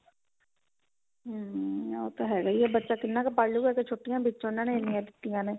hm ਉਹ ਤਾਂ ਹੈਗਾ ਹੀ ਹੈ ਬੱਚਾ ਕਿੰਨਾ ਕੁ ਪੜ੍ਹ ਲੇਗਾ ਕੁੱਝ ਛੁੱਟੀਆਂ ਵਿੱਚ ਉਹਨਾ ਨੇ ਇੰਨੀਆਂ ਦਿੱਤੀਆਂ ਨੇ